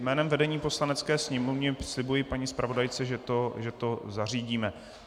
Jménem vedení Poslanecké sněmovny slibuji paní zpravodajce, že to zařídíme.